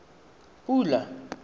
pula